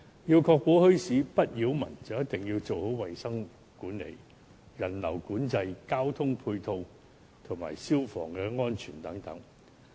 要確保墟市不擾民，就一定要做好衞生管理、人流管制、交通配套及消防安全等工作。